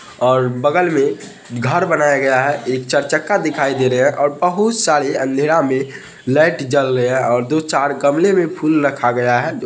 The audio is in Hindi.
और बगल में घर बनाया गया है एक चर चक्का दिखाई दे रहे है और बहुत सारे अंधेरा में लाइट जल रहे है और दो-चार गमले में फूल रखा गया है।